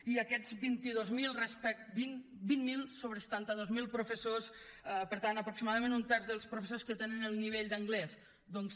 i aquests vint miler sobre setanta dos mil professors per tant aproximadament un terç dels professors que tenen el nivell d’anglès doncs